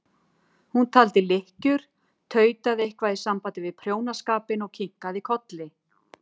Hún taldi lykkjur, tautaði eitthvað í sambandi við prjónaskapinn og kinkaði kolli.